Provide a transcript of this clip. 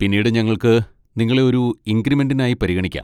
പിന്നീട് ഞങ്ങൾക്ക് നിങ്ങളെ ഒരു ഇൻക്രിമെന്റിനായി പരിഗണിക്കാം.